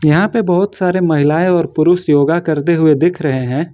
यहां पे बहुत सारे महिलाएं और पुरुष योगा करते हुए दिख रहे हैं।